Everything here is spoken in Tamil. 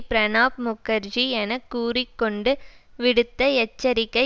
பிரணாப் முக்கர்ஜி என கூறி கொண்டு விடுத்த எச்சரிக்கை